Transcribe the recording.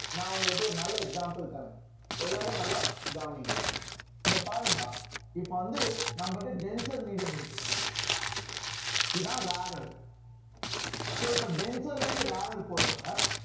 நான் உங்களுக்கு ஒரு நல்ல example தர்றேன் எல்லாரும் நல்லா கவனிங்க இங்க பாருங்கயா இப்ப வந்து நம்ம கிட்ட denser medium இருக்கு இதான் rarer so இப்ப denser ல இருந்து rarer போறப்ப